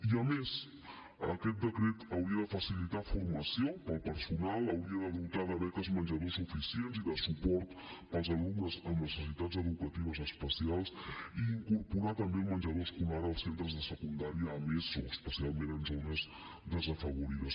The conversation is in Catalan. i a més aquest decret hauria de facilitar formació per al personal hauria de dotar de beques menjador suficients i de suport per als alumnes amb necessitats educatives especials i incorporar també el menjador escolar als centres de secundària amb eso especialment en zones desafavorides